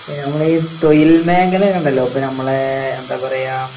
ആ നമ്മളീ തൊയിൽമേഖല ഉണ്ടല്ലോ ഇപ്പോ നമ്മളെ എന്താ പറയുക